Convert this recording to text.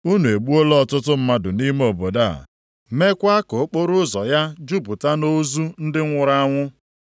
Unu egbuola ọtụtụ mmadụ nʼime obodo a, meekwa ka okporoụzọ ya jupụta nʼozu ndị nwụrụ anwụ.